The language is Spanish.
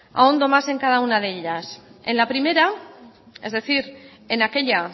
ahondo más en cada una de ellas en la primera es decir en aquella